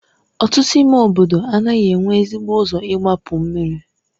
Ọtụtụ ime obodo anaghị enwe ezigbo ụzọ igbapu mmiri.